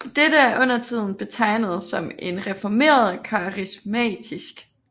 Dette er undertiden betegnet som en reformert karismatisk